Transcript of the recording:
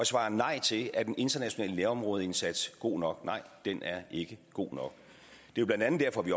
svarer nej til at den internationale nærområdeindsats god nok den er ikke god nok det er blandt andet derfor vi